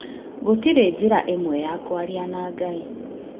Gũtirĩ njĩra ĩmwe ya kwaria na Ngai